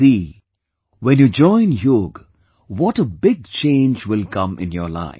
See, when you join yoga, what a big change will come in your life